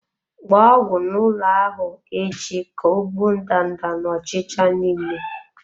Gba ọgwụ n'ụlọ ahụ echi ka ọ gbuo ndanda na ọchịcha niile.